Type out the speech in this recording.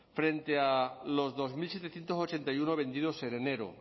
frente a los dos mil setecientos ochenta y uno vendidos en enero